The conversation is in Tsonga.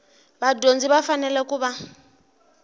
vadyondzi va fanele ku va